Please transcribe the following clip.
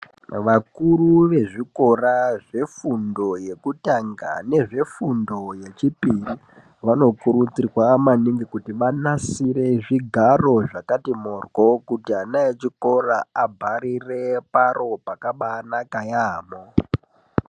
Vakuru vezvikora zvefundo yekutanga nezvefundo yechipiri vanokurudzirwa maningi kuti vanasire zvigaro zvakati morwo, kuti ana echikora abharire paro pakabaanaka yaambho.